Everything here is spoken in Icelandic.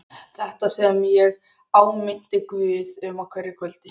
Þetta sem ég áminnti Guð um á hverju kvöldi.